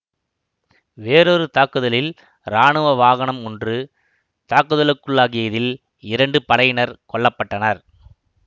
வேறொரு தாக்குதலில் இராணுவ வாகனம் ஒன்று தாக்குதலுக்குள்ளாகியதில் இரண்டு படையினர் கொல்ல பட்டனர்